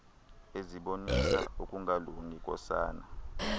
ezibonisa ukungalungi kosana